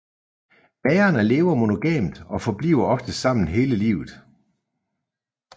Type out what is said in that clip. Magerne lever monogamt og forbliver ofte sammen hele livet